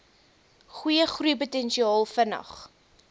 goeie groeipotensiaal vinnig